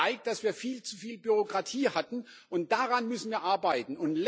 Das zeigt, dass wir viel zu viel Bürokratie hatten, und daran müssen wir arbeiten.